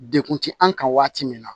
Dekun ti an kan waati min na